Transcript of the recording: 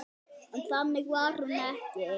En þannig var hún ekki.